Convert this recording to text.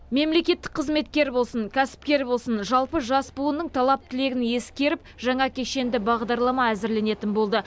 мемлекеттік қызметкер болсын кәсіпкер болсын жалпы жас буынның талап тілегін ескеріп жаңа кешенді бағдарлама әзірленетін болды